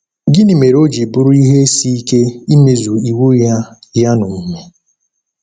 Gịnị mere o ji bụrụ ihe isi ike imezu iwu Ya Ya n’omume?